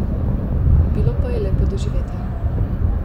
Bilo pa je lepo doživetje.